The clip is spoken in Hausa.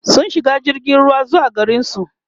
sun shiga jirgin ruwa zuwa garinsu